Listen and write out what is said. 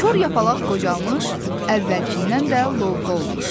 Kor yapalaq qocalmış, əvvəlkindən də lovğa olmuşdu.